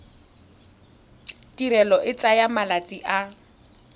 tirelo e tsaya malatsi a